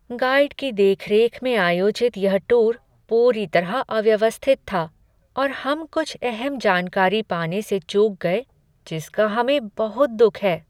Guide की देख रेख में आयोजित यह टूर पूरी तरह अव्यवस्थित था और हम कुछ अहम जानकारी पाने से चूक गए जिसका हमें बहुत दुख है।